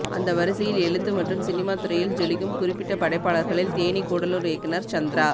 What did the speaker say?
அந்த வரிசையில் எழுத்து மற்றும் சினிமா துறையில் ஜொலிக்கும் குறிப்பிட்ட படைப்பாளர்களில் தேனி கூடலுார் இயக்குனர் சந்திரா